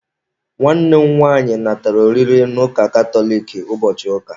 Nwanne m nwaanyị natara oriri na ụka katoliki ụbọchị ụka.